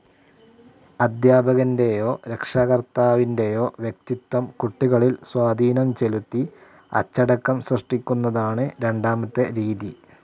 അധ്യാപകന്റെയോ രക്ഷാകർത്താവിന്റെയോ വ്യക്തിത്വം കുട്ടികളിൽ സ്വാധീനം ചെലുത്തി അച്ചടക്കം സൃഷ്ടിക്കുന്നതാണ് രണ്ടാമത്തെ രീതി.